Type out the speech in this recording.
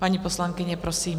Paní poslankyně, prosím.